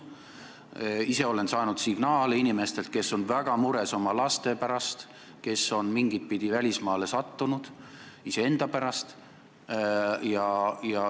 Ma ise olen saanud signaale inimestelt, kes on väga mures oma laste pärast, kes on mingitpidi välismaale sattunud, ja ka iseenda pärast.